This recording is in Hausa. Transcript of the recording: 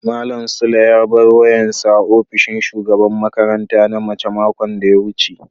malam sule ya bar wayan sa a opishin shugaban makaranta na mace makon da ya wuce.